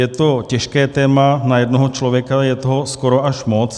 Je to těžké téma na jednoho člověka, je toho skoro až moc.